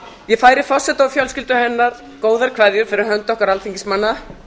ég færi forseta og fjölskyldu hennar góðar kveðjur fyrir hönd okkar alþingismanna